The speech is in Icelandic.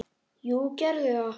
Jú, gerðu það!